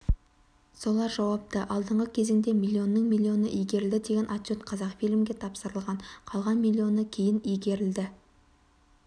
солар жауапты алдыңғы кезеңде миллионның миллионы игерілді деген отчет қазақфильмге тапсырылған қалған миллионы кейін игерілді